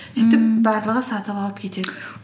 мхм сөйтіп барлығы сатып алып кетеді